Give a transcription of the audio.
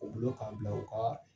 O bulo k'an bila u kaa